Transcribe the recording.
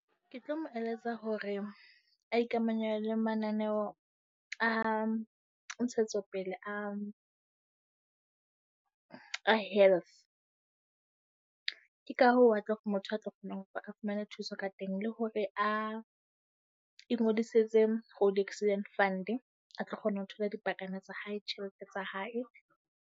Ke tlo mo eletsa hore a ikamanya le mananeo a ntshetsopele a, a health. Ke ka hoo a tlo motho a tlo kgona ho a fumane thuso ka teng le hore a ingodisetse Road Accident Fund. A tlo kgona ho thola dipakana tsa hae, tjhelete tsa hae.